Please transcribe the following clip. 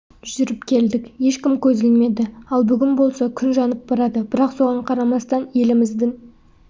жүріп келдік ешкім көз ілмеді ал бүгін болса күн жанып барады бірақ соған қарамастан еліміздің